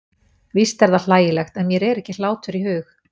Víst er það hlægilegt, en mér er ekki hlátur í hug.